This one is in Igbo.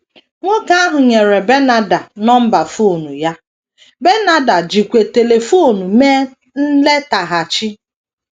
Nwoke ahụ nyere Bernarda nọmba fon ya, Bernarda jikwa telifon mee nletaghachi.